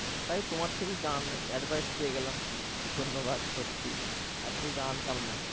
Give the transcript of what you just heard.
তাই তোমার থেকে জানলে advice পেয়ে গেলাম ধন্যবাদ সত্যি এত কিছু জানতাম না